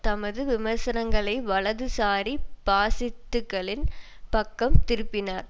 தமது விமர்சனங்களை வலதுசாரி பாசிஸ்டுக்களின் பக்கம் திருப்பினார்